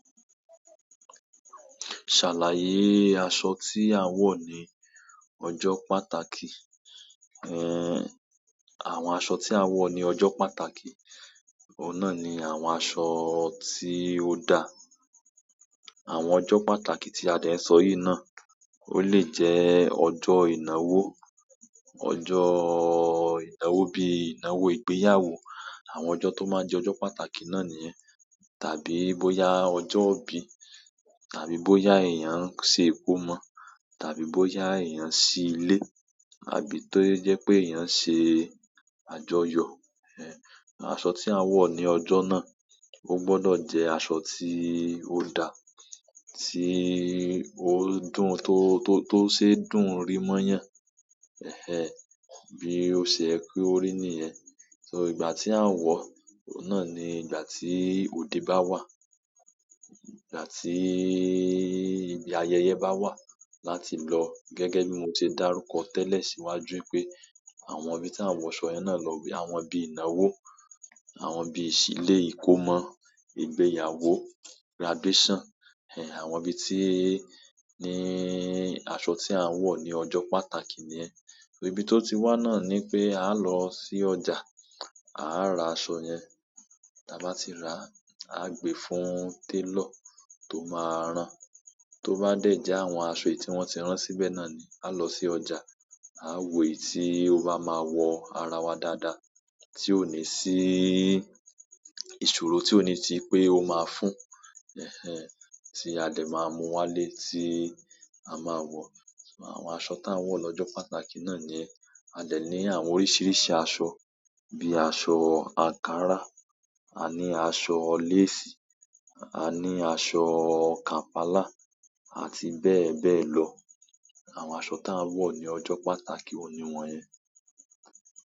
Ṣàlàyé aṣọ tí a ń wọ̀ ní ọjọ́ pàtàkì, ẹh, àwọn aṣọ tí a ń wọ̀ ní ọjọ́ pàtàkì, ọ̀nà ni àwọn aṣọ tí ó dà. Àwọn ọjọ́ pàtàkì tí Adé ń sọ yìí náà, ó lè jẹ́ ọjọ́ ìnáwó, ọjọ́ ìnáwó bíi ìnáwó ìgbéyàwó. Àwọn ọjọ́ tó máa ń jẹ́ ọjọ́ pàtàkì náà nìyẹn. Tàbí bóyá ọjọ́ ìbí, tàbí bóyá èèyàn ń ṣe ìkómọ, tàbí bóyá èèyàn n sí ilé, àbí tó jẹ́ pé èèyàn ṣe àjọyọ̀, ẹh, aṣọ tí a ń wọ̀ ní ọjọ́ náà, ó gbọ́dọ̀ jẹ́ aṣọ tí ó dà, tí ó dùn tó, tó, tó ṣe dùn-ún rí mọ́yàn. Ẹhẹ́n, bí o ṣe ye ki orí nìyẹn. So ìgbà tí à ń wọ, oun náà ni ìgbà tí òde bá wà. Ìgbà tí ìgbéayẹyẹ bá wà láti lọ. Gẹ́gẹ́ bí mo ti dárúkọ tẹ́lẹ̀ síwájú pé, àwọn ibi tí à wọ̀ aṣọ yẹn náà lọ wí, àwọn ibi ìnáwó, àwọn ibi ìsílé, ìkómọ, ìgbéyàwó, graduation, ẹh, àwọn ibi tí, ní aṣọ tí à wọ̀ ní ọjọ́ pàtàkì nìyẹn. So ìbí tó ti wà náà ni pé, a lọ sí ọjà, a rà aṣọ yẹn. Ti a bá ti rà, a gbé fún télọ̀ tó máa rán. Tó bá dé já àwọn aṣọ ì tí wọ́n ti rán síbẹ̀ náà ni, a lọ sí ọjà, a wò èyí tí ó bá máa wọ ara wa dáadáa, tí ó ní sí ìṣòro, tí ó ní ti pé ó máa fún. Ẹhẹ́n, tí Adé máa mú wálé tí a máa wọ̀. Àwọn aṣọ tí a ń wọ̀ ní ọjọ́ pàtàkì náà ni Adé ní àwọn oríṣiríṣi aṣọ bíi aṣọ ankara, a ní aṣọ lace, a ní aṣọ Kampala àti bẹ́ẹ̀ bẹ́ẹ̀ lọ. Àwọn aṣọ tí a ń wọ̀ ní ọjọ́ pàtàkì òní wọn yẹn.